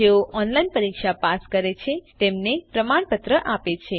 જેઓ ઓનલાઇન પરીક્ષા પાસ કરે છે તેમને પ્રમાણપત્ર આપે છે